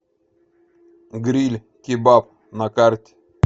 гриль кебаб на карте